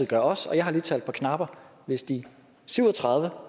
gør også og jeg har lige talt på knapper hvis de syv og tredive